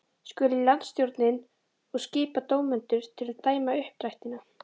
Skuli landsstjórnin og skipa dómendur til að dæma uppdrættina.